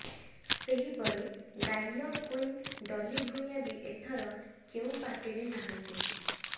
ସେହିପରି dialogue queen Dolly Bhuyan ବି ଏଥର କେଉ ପାର୍ଟିରେ ନାହାଁନ୍ତି